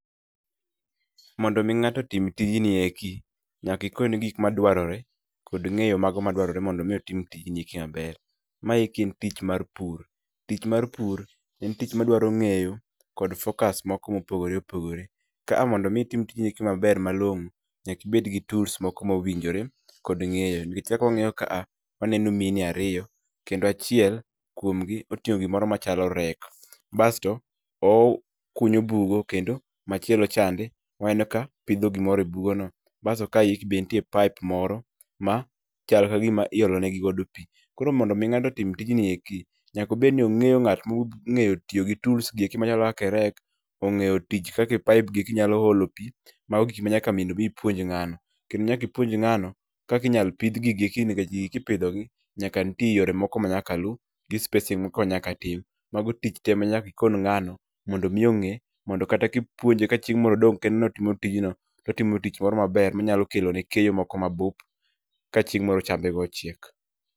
Mondo mi ng'ato otim tijni eki, nyaki ikone gik madwarore, kod ng'eyo mago madwarore mondo mi otim tijni eki maber. Maeki en tich mar pur. Tich mar pur, en tich madwaro ng'eyo, kod focus moko mopogore opogore. Ka a mondo mi itim tijni maber malong'o, nyaki ibed gi tools moko mowinjore, kod ng'eyo nikech kaka wang'iyo ka a, waneno mine ariyo. Kendo achiel kumgi, oting'o gimoro machalo rek. Basto owu kunyo bugo, kendo machielo chande waneno ka, pidho gimoro e bugono. Basto kayeki be nitie pipe moro ma chal ka gima iolo negi godo pii. Koro mondo mi nga'to otim tijni eki, nyako obed ni ong'eyo ng'at mo ng'eyo tiyo gi tools gi eki machalo kake rek, ong'eyo tich kake pipe gi eki nyalo olo pii. Mago gik ma nyaka ipuonj ng'ano. Kendo nyaki ipuonj ng'ano, kaki inyal pidh gigi eki nikech gigi kipidho gi, nyaka nitie yore moko ma nyaka lu, gi spacing moko ma nyaka tim. Mago tich te ma nyaki ikon ng'ano, mondo mi ong'e. Mondo kata kipuonje ka chieng' mor odong' kende notimo tijno, totimo tich moro maber manyalo kelone keyo moko mabup, ka chieng' moro chambe go ochiek